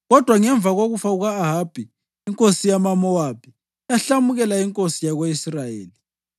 Kodwa ngemva kokufa kuka-Ahabi, inkosi yamaMowabi yahlamukela inkosi yako-Israyeli.